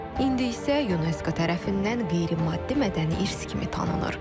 İndi isə UNESCO tərəfindən qeyri-maddi mədəni irs kimi tanınır.